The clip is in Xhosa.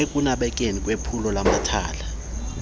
ekunabeni kwephulo lamathala